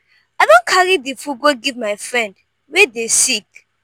i don carry di food go give my friend wey dey sick.